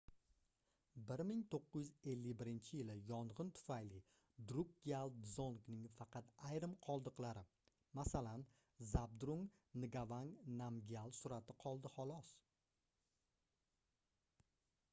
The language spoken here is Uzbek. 1951-yili yongʻin tufayli drukgyal dzongning faqat ayrim qoldiqlari masalan zabdrung ngavang namgyal surati qoldi xolos